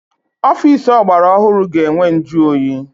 Ọfịịsi ọgbara ọhụrụ ga-enwe njụoyi.